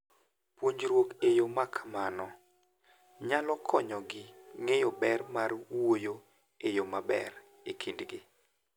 Puonjruok e yo ma kamano nyalo konyogi ng'eyo ber mar wuoyo e yo maber e kindgi.